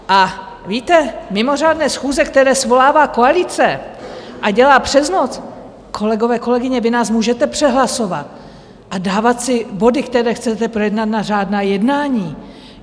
A víte, mimořádné schůze, které svolává koalice, a dělá přes noc - kolegové, kolegyně, vy nás můžete přehlasovat a dávat si body, které chcete projednat, na řádná jednání.